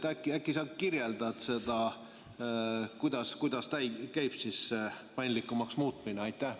Äkki sa kirjeldad seda, kuidas käib siis see paindlikumaks muutmine?